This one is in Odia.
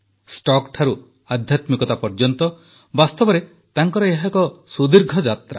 ଷ୍ଟକ୍ଠାରୁ ଆଧ୍ୟାତ୍ମିକତା ପର୍ଯ୍ୟନ୍ତ ବାସ୍ତବରେ ତାଙ୍କର ଏହା ଏକ ସୁଦୀର୍ଘ ଯାତ୍ରା